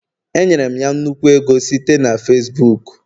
Enyere m ya nnukwu ego site na Facibuku